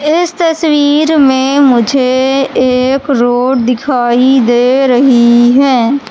इस तस्वीर में मुझे एक रोड़ दिखाई दे रही है।